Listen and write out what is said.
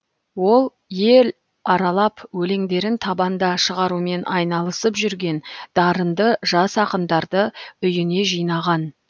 ол ел аралап өлеңдерін табанда шығарумен айналысып жүрген дарынды жас ақындарды үйіне жинаған